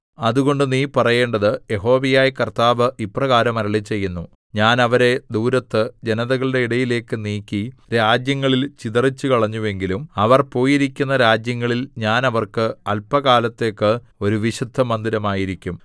അതുകൊണ്ട് നീ പറയേണ്ടത് യഹോവയായ കർത്താവ് ഇപ്രകാരം അരുളിച്ചെയ്യുന്നു ഞാൻ അവരെ ദൂരത്ത് ജനതകളുടെ ഇടയിലേക്ക് നീക്കി രാജ്യങ്ങളിൽ ചിതറിച്ചുകളഞ്ഞുവെങ്കിലും അവർ പോയിരിക്കുന്ന രാജ്യങ്ങളിൽ ഞാൻ അവർക്ക് അല്പകാലത്തേക്ക് ഒരു വിശുദ്ധമന്ദിരമായിരിക്കും